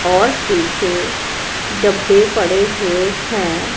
और पीछे डब्बे पड़े हुए हैं।